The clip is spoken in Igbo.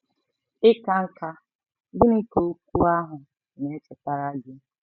Ịka nká—gịnị ka okwu ahụ na-echetara gị?